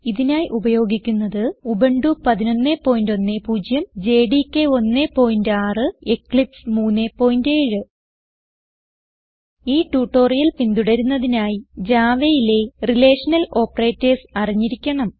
ഇതിനായി ഉപയോഗിക്കുന്നത് Ubuntu 1110 JDK 16 Eclipse 37 ഈ ട്യൂട്ടോറിയൽ പിന്തുടരുന്നതിനായി Javaയിലെ റിലേഷണൽ ഓപ്പറേറ്റർസ് അറിഞ്ഞിരിക്കണം